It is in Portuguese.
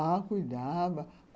Ah, cuidava.